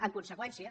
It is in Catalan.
en conseqüència